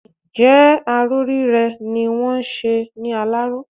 Ǹjẹ́ aró rírẹ́ ni wọ́n ń ṣe ní Aláró?